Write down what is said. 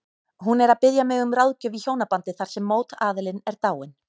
Hún er að biðja mig um ráðgjöf í hjónabandi þar sem mótaðilinn er dáinn.